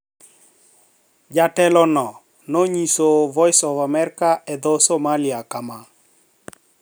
Jatelo no nonyiso Voice of America e dho Somalia kama: